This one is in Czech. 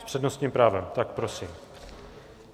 S přednostním právem, tak prosím.